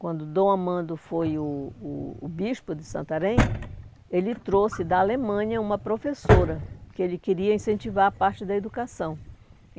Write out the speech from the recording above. Quando Dom Amando foi o o o bispo de Santarém, ele trouxe da Alemanha uma professora, que ele queria incentivar a parte da educação.